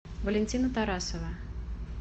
валентина тарасова